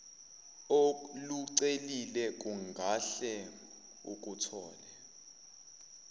olucelile ungahle ukuthole